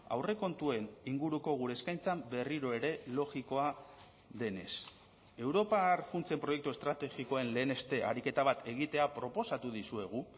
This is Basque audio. aurrekontuen inguruko gure eskaintzan berriro ere logikoa denez europar funtsen proiektu estrategikoen leheneste ariketa bat egitea proposatu dizuegu